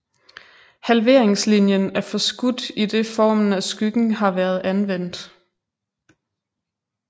Halveringslinien er forskudt idet formen af skyggen har været anvendt